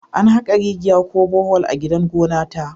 An haka rigiya ko Bohol a gidan gona ta